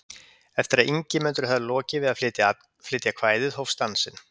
Eftir að Ingimundur hafði lokið við að flytja kvæðið hófst dansinn.